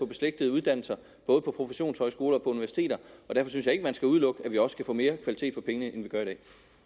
beslægtede uddannelser både på professionshøjskoler og universiteterne og derfor synes jeg ikke at man skal udelukke at vi også kan få mere kvalitet for pengene end vi gør i